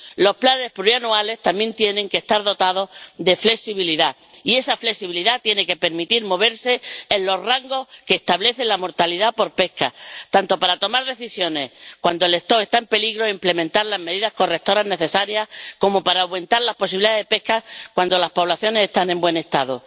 Los planes plurianuales también tienen que estar dotados de flexibilidad, y esa flexibilidad tiene que permitir moverse en los rangos que establece la mortalidad por pesca, tanto para tomar decisiones cuando las poblaciones están en peligro e implementar las medidas correctoras necesarias, como para aumentar las posibilidades de pesca cuando las poblaciones están en buen estado.